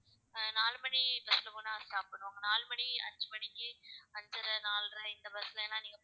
ஆஹ் நாலு மணி bus ல போனா சாப்பிடணும். நாலு மணி அஞ்சு மணிக்கு அஞ்சரை நாலரை இந்த bus லன்னா நீங்க